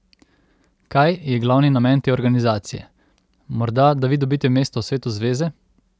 Kaj je glavni namen te organizacije, morda da vi dobite mesto v svetu zveze?